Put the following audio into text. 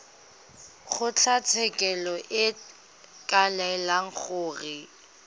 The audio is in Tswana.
kgotlatshekelo e ka laela gore